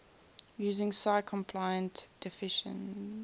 using si compliant definitions